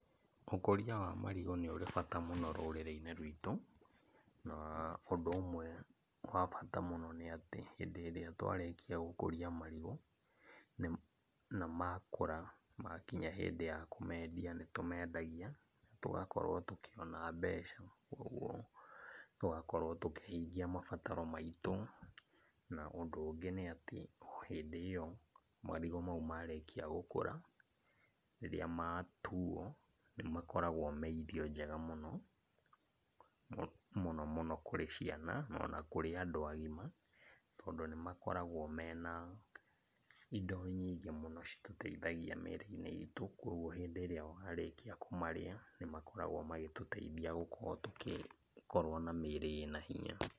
Ũkũria wa marigũ nĩ ũrĩ bata mũno rũrĩrĩ-inĩ rwitũ, na ũndũ ũmwe wa bata mũno nĩatĩ hĩndĩ ĩrĩa twarĩkia gũkũria marigũ na makũra makinya hĩndĩ ya kũmendia nĩ tũmendagia, tũgakorwo tũkĩona mbeca kuoguo tũgakorwo tũkĩhingia mabataro maitũ. Na, ũndũ ũngĩ nĩatĩ hĩndĩ ĩyo marigũ maitũ marĩkia gũkũra, rĩrĩa matuo nĩ makoragwo me irio njega mũno, mũno mũno kũrĩ ciana ona kũrĩ andũ agima, tondũ nĩ makoragwo mena indo nyingĩ mũno citũteithagia mĩrĩ-inĩ itũ, kuoguo hĩndĩ ĩrĩa warĩkia kũmarĩa nĩ makoragwo magĩtũteithia gũkorwo tũkĩkorwo na mĩrĩ ĩna hinya.